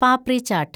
papri chat